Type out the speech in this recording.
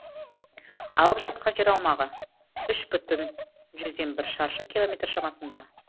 алып жатқан жер аумағы үш бүтін жүзден бір шаршы километр шамасында